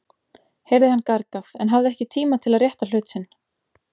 heyrði hann gargað, en hafði ekki tíma til að rétta hlut sinn.